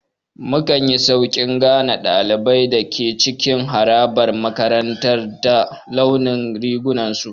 Mukanyi Sauƙin gane ɗaliban da ke cikin harabar makarantar ta launin rigunan su